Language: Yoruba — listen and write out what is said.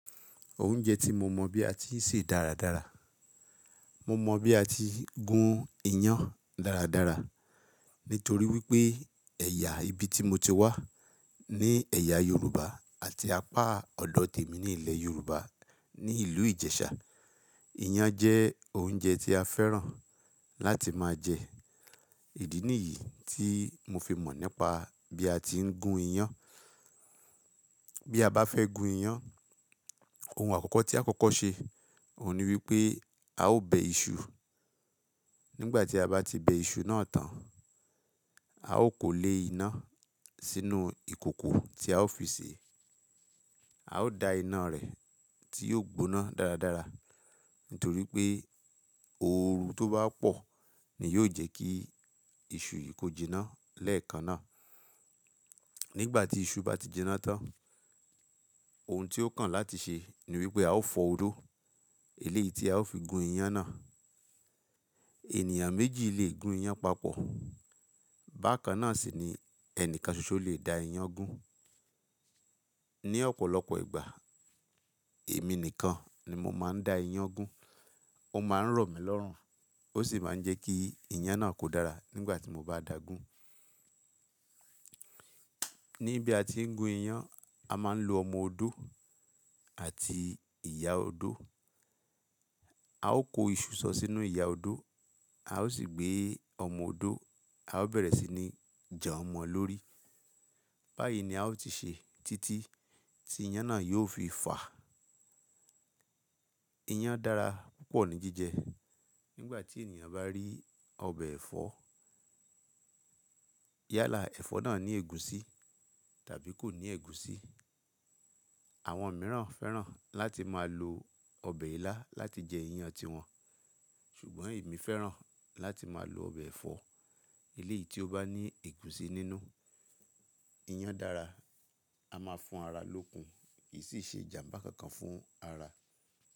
Oúnjẹ tí mo mọ̀ bí a ti ń ṣe dáradára. Mo mọ bí a ti gún iyán dáradára nítorí wípé ẹ̀yà ibi tí mo ti wá ní ẹ̀yà Yorùbá àti apá ọ̀dọ̀ tèmi ní ilẹ̀ Yorùbá ní ìlú Ìjẹ̀ṣà. Iyán jẹ́ oúnjẹ tí a fẹ́ràn láti máa jẹ. Ìdí nìyí tí mo fi mọ̀ nípa bí a ti ń gún iyán. Bí a bá fẹ́ gún iyán, ohun àkọ́kọ́ tí a kọ́kọ́ ṣe òun ni wípé a ó bẹ iṣu. Nígbà tí a bá ti bẹ iṣu náà tán, a ó kó lé iná sínú ìkòkò tí a ó fi sè é. A ó da iná rẹ̀ tí yóò gbóná dáradára. Nítorí pé ooru tó bá pọ̀ ni yóò jẹ́ kí iṣu yìí kó jiná lẹ́ẹ̀kan náà. Nígbà tí iṣu bá ti jiná tán, ohun tí ó kàn láti ṣe ni wípé a ó fọ odó eléyìí tí a ó fi gún iyán náà. Ènìyàn méjì lè gún iyán papọ̀. Bákan náà sì ni ẹnìkan ṣoṣo lè da iyán gún. Ni ọ̀pọ̀lọpọ̀ ìgbà èmi nìkan ni mo máa ń da iyán gún. Ó máa ń rọ̀ mí lọ́rùn, ó sì máa ń jẹ́ kí iyán náà kó dára nígbà tí mo bá dà á gún. Ní bí a ti ń gún iyán, a máa ń lo ọmọ odó àti ìyá odó. A ó kó iṣu sọ sínú ìyá odó, a ó sì gbé ọmọ odó, a ó bẹ̀rẹ̀ sí ní jan mọ lọ́rí. Báyìí ni a ó ti ṣe títí tí iyán náà yóò fi fà. Iyán dára púpọ̀ ní jíjẹ. Nígbà tí ènìyàn bá rí ọbẹ̀ ẹ̀fọ́. Yala ẹ̀fọ́ náà ní ègúsí tàbí kò ní ègúsí. Àwọn mìíràn fẹ́ràn láti máa lo ọbẹ̀ ilá láti jẹ iyán tí wọn. Ṣùgbọ́n èmi fẹ́ràn láti máa lo ọbẹ̀ ẹ̀fọ́ eléyìí tí ó bá ní ègúsí nínú. Iyán dára, a máa fún ara lókun, kì í sì ṣe ìjàmbá kankan fún ara.